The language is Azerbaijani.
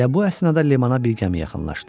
Elə bu əsnada limana bir gəmi yaxınlaşdı.